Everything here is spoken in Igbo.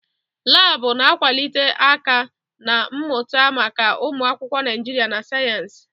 Laabụ̀ na-akwado aka-na mmụta maka ụmụ akwụkwọ Naijiria na sayensị.